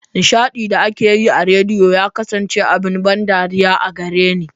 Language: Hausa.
Nishaɗin da ake yi a rediyo ya kasance abin ban dariya a gare ni.